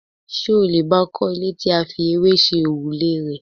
Ṣé o lè bay I kọ́ ilé tí a fi ewé ṣe òrùlé rẹ̀?